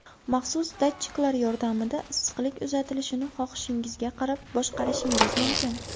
Maxsus datchiklar yordamida issiqlik uzatilishini xohishingizga qarab boshqarishingiz mumkin.